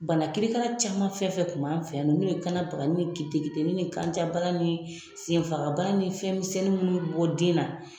Bana kirikara caman fɛnfɛn kun b'an fɛ yan n'o ye kanabaganin ni keteketenin ni kanjabana ni senfagabana ni fɛnmisɛnnin minnu bi bɔ den na.